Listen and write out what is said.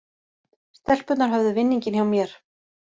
Stelpurnar höfðu vinninginn hjá mér